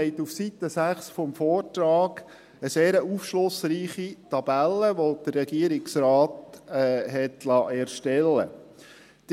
Sie finden auf Seite 6 des Vortrags eine sehr aufschlussreiche Tabelle, die der Regierungsrat hat erstellen lassen.